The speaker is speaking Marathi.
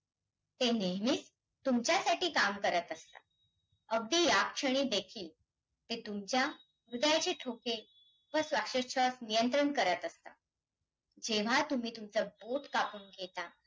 ते नेहमीच तुमच्यासाठी काम करतं असतात, अगदी या क्षणी देखील ते तुमच्या हृदयाचे ठोके व श्वासोच्छवास नियंत्रण करतं असतात, जेव्हा तुम्ही तुमचं बोटं कापून घेता,